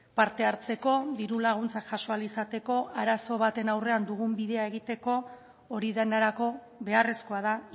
parte hartzeko diru laguntzak jaso ahal izateko arazo baten aurren dugun bidea egiteko hori denerako beharrezkoa da